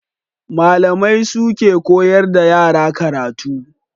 Malamai su ke koyar da yara karatu.